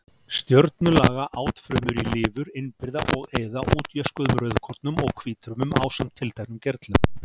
Stjörnulaga átfrumur í lifur innbyrða og eyða útjöskuðum rauðkornum og hvítfrumum ásamt tilteknum gerlum.